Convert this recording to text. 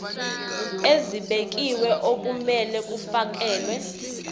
ezibekiwe okumele kufakelwe